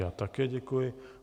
Já také děkuji.